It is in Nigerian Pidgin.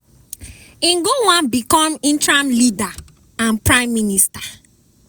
im go wan become interim leader and prime minister.